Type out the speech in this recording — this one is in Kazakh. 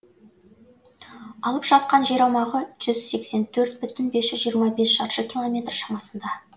алып жатқан жер аумағы жүз сексен төрт бүтін бес жүз жиырма бес шаршы километр шамасында